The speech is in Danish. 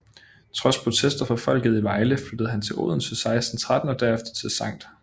Trods protester fra folket i Vejle flyttede han til Odense 1613 og derefter til Skt